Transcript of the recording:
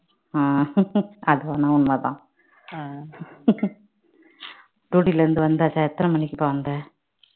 அஹ் அதெல்லாம் உண்மை தான் duty ல இருந்து வந்தாச்சா எத்தன மணிக்குப்பா வந்த